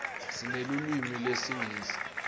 sinelulwimi lesingisi